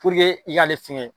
i k'ale fɛngɛ